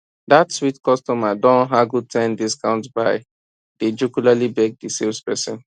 dat sweet customer don haggle ten discount by dey jocularly beg di sales person